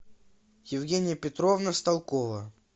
евгения петровна сталкова